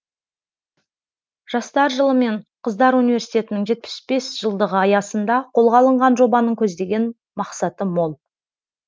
жастар жылы мен қыздар университетінің жетпіс бес жылдығы аясында қолға алынған жобаның көздеген мақсаты мол